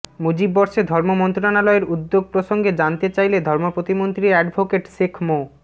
মুজিববর্ষে ধর্ম মন্ত্রণালয়ের উদ্যোগ প্রসঙ্গে জানতে চাইলে ধর্ম প্রতিমন্ত্রী অ্যাডভোকেট শেখ মো